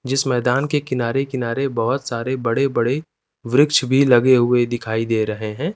जिस मैदान के किनारे किनारे बहोत सारे बड़े बड़े वृक्ष भी लगे हुए दिखाई दे रहे हैं।